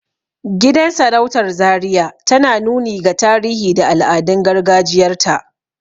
Gidan sarautar zaria tana nuni ga tarihi da al'adun gargajiyar ta